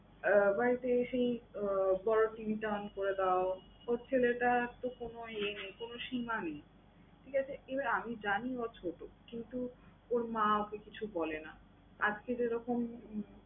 আহ বাড়িতে এসেই আহ বড় TV টা on করে দাও। ওর ছেলেটার তো কোন ইয়ে নেই, কোন সীমা নেই। ঠিক আছে? এবার আমি জানি ও ছোটো কিন্তু ওর মা ওকে কিছু বলে না। আজকে যেরকম